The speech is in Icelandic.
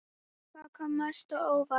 Hvað kom mest á óvart?